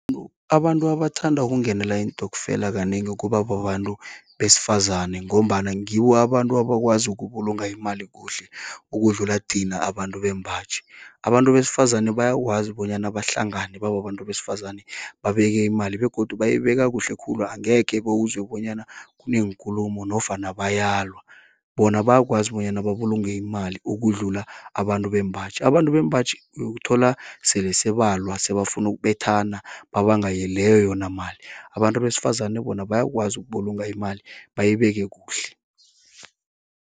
Abantu abathanda ukungenela iintokfela kanengi, kuba babantu besifazane. Ngombana ngibo abantu abakwazi ukubulunga imali kuhle. ukudlula thina abantu bembaji. Abantu besifazane bayakwazi, bonyana bahlangane bababantu besifazane, babeke imali. Begodu bayibeke kuhle khulu, angekhe bewuzwe bonyana kuneenkulumo, nofana bayabalwa. Bona bayakwazi bonyana babulunge imali, ukudlula abantu bembaji. Abantu bembaji, uyokuthola sele sebalwa sebafunu ukubethana babanga leyo yonamali. Abantu besifazane bona, bayakwazi ukubulunga imali bayibeke kuhle.